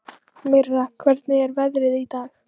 Mirra, hvernig er veðrið í dag?